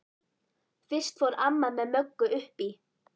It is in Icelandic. Fyrst fór amma með Möggu upp í